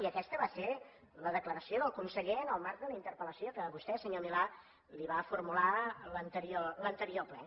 i aquesta va ser la declaració del conseller en el marc de la interpel·lació que vostè senyor milà li va formular en l’anterior ple